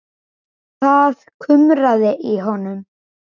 Það kumraði í honum.